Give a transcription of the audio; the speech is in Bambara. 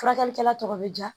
Furakɛlikɛla tɔ bɛ ja